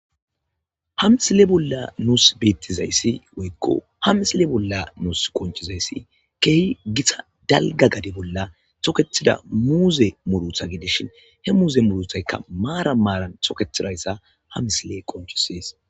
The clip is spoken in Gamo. ha misile bolla nuus beettizayssi woykko ha misile bolla nuus qonchizayssi keehi githa dalga gade bolla tokethida muuze murutha gidishin he muuze muruthaykka maaran maaran xoketidayssa ha misile qonccisees.